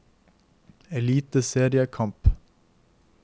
eliteseriekamp